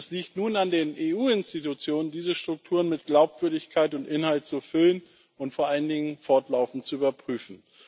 Es liegt nun an den EU Institutionen, diese Strukturen mit Glaubwürdigkeit und Inhalt zu füllen und vor allen Dingen fortlaufend zu überprüfen.